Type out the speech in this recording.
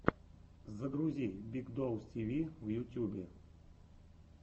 загрузи биг доус ти ви в ютюбе